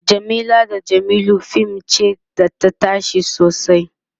Jamila da jamilu fim ce da tayi tashe sosai